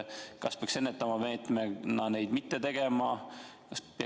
Kas peaks neid ennetava meetmena mitte tegema?